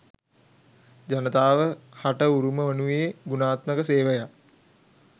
ජනතාව හට උරුම වනුයේ ගුණාත්මක සේවයක්